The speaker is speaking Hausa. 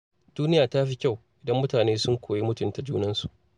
Duniya ta fi kyau idan mutane sun koyi mutunta junansu.